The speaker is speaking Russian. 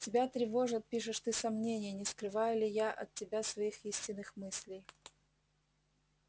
тебя тревожат пишешь ты сомнения не скрываю ли я от тебя своих истинных мыслей